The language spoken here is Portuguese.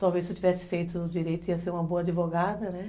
Talvez se eu tivesse feito o direito ia ser uma boa advogada, né?